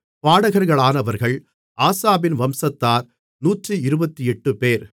பாடகர்களானவர்கள் ஆசாபின் வம்சத்தார் 128 பேர்